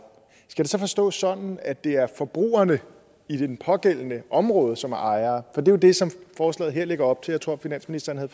skal det så forstås sådan at det er forbrugerne i det pågældende område som er ejere for er jo det som forslaget her lægger op til jeg tror finansministeren havde